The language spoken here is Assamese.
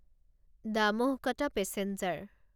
দামোহ কটা পেছেঞ্জাৰ